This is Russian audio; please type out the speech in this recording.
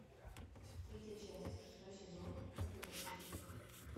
третья часть шестой сезон компьютерщики